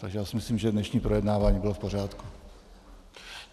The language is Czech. Takže já si myslím, že dnešní projednávání bylo v pořádku.